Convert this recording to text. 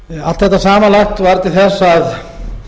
allt þetta samanlagt varð til þess að